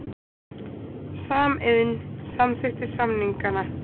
Samiðn samþykkti samningana